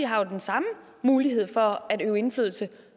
har jo den samme mulighed for at udøve indflydelse